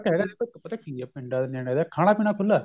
ਹੈਗਾ ਦੇਖੋ ਪਤਾ ਕੀ ਏ ਪਿੰਡਾ ਦੇ ਨਿਆਣੇ ਦਾ ਖਾਣਾ ਪੀਣਾ ਖੁੱਲਾ